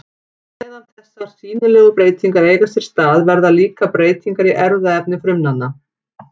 Á meðan þessar sýnilegu breytingar eiga sér stað verða líka breytingar í erfðaefni frumanna.